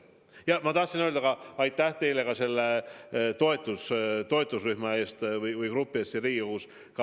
Ja ma tahtsin öelda aitäh teile ka selle toetusrühma töö eest siin Riigikogus.